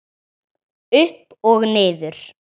Upp og niður